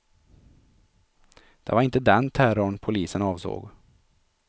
Det var inte den terrorn polisen avsåg.